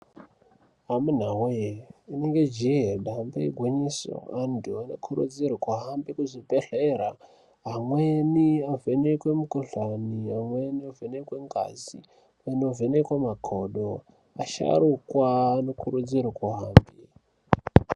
Amunawee inenge jee damba igwinyiso, vantu vanokurudzirwa vahambe kuzvibhedhlera ,amweni avhenekwe mikhuhlani, amweni avhenekwe ngazi, inovhenekwa makodo asharukwa anokurudzirwa.